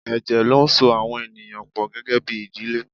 Ẹ̀jẹ̀ ló ń so àwọn ènìyàn pọ gẹ́gẹ́bí ìdílé.